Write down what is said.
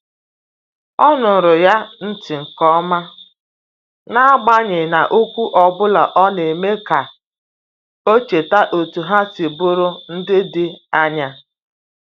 O nụụrụ ya ntị nke ọma, n’agbanyeghị na okwu ọ bụla na-eme ka o cheta etu ha si bụrụ ndị dị anya.